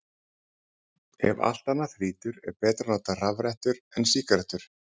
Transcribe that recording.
Ef allt annað þrýtur, er betra að nota rafrettur en sígarettur.